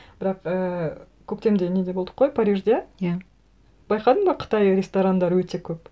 бірақ ііі көктемде неде болдық қой парижде иә байқадың ба қытай ресторандары өте көп